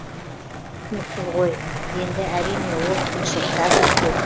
түсініксіз ғой енді әрине ол қиыншылықтар да көп